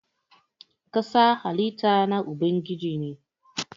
ƙasa halitta na Ubangiji ne.